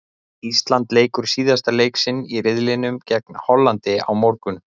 Ísland leikur síðasta leik sinn í riðlinum gegn Hollandi á morgun.